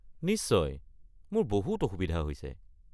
নিশ্চয় মোৰ বহুত অসুবিধা হৈছে।